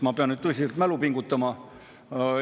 Ma pean nüüd tõsiselt mälu pingutama.